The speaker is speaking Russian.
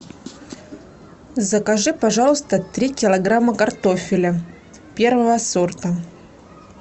закажи пожалуйста три килограмма картофеля первого сорта